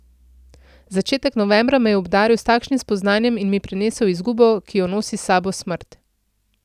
Začetek novembra me je obdaril s takšnim spoznanjem in mi prinesel izgubo, ki jo nosi s sabo smrt.